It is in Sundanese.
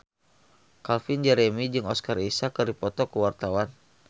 Calvin Jeremy jeung Oscar Isaac keur dipoto ku wartawan